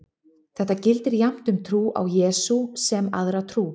Þetta gildir jafnt um trú á Jesú sem aðra trú.